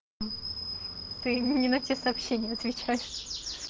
ты мне не на те сообщения отвечаешь